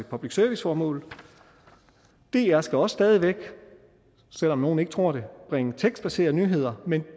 public service formål dr skal også stadig væk selv om nogle ikke tror det bringe tekstbaserede nyheder men